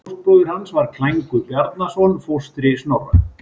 Fóstbróðir hans var Klængur Bjarnason, fóstri Snorra.